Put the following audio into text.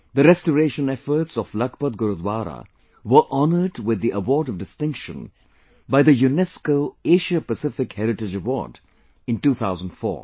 The restoration efforts of Lakhpat Gurudwara were honored with the Award of Distinction by the UNESCO Asia Pacific Heritage Award in 2004